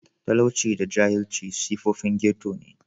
Talauci da jahilci siffofin ghetto ne.